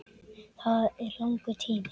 Það er langur tími.